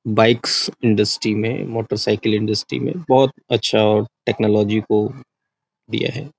Bikes industry में motorcycle industry में बहोत अच्छा टेक्नोलॉजी को दिया है।